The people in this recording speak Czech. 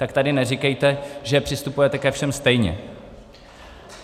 Tak tady neříkejte, že přistupujete ke všem stejně.